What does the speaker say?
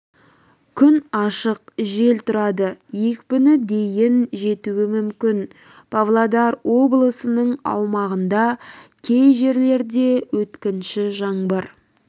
күн ашық жел тұрады екпіні дейін жетуі мүмкін павлодар облысының аумағында кей жерлерде өткінші жаңбыр